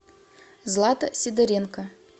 злата сидоренко